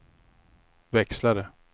växlare